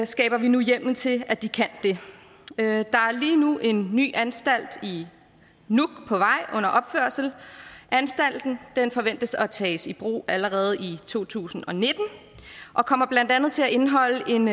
skaber vi nu hjemmel til at de kan det der er lige nu en ny anstalt under i nuuk anstalten forventes at kunne tages i brug allerede i to tusind og nitten og kommer blandt andet til at indeholde en